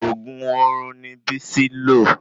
Òògùn orun ni Bisi lo